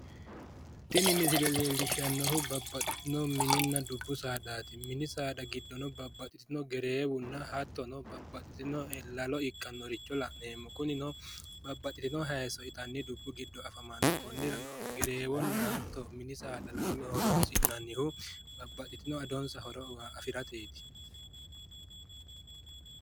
Tini misile leellishshannohu babbaxxitino mininna dubbu saadaati mini saada giddono babbaxxitino gereewunna hattono babbaxitino lalo ikkannore la'neemmo kunino babbaxxitino hayiisso itanni dubbu giddo afamanno konnirano gereewona hattono mini saada lalo horonsi'nannihu babbaxxitino adonsa horo afirateeti.